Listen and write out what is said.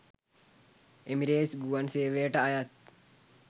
Emirates ගුවන් සේවයට අයත්